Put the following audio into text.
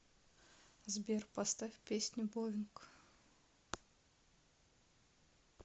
сбер поставь песню боинг